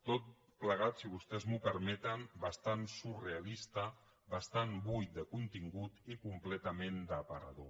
tot plegat si vostès m’ho permeten bastant surrealista bastant buit de contingut i completament d’aparador